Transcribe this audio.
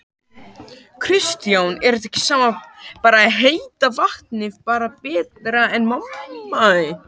Kristján: Er samt ekki bara heita vatnið bara betra?